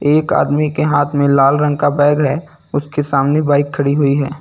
एक आदमी के हाथ में लाल रंग का बैग है उसके सामने बाइक खड़ी हुई है।